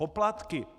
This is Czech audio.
Poplatky!